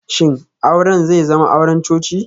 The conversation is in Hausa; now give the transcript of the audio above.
Shin auren zai zama auren coci?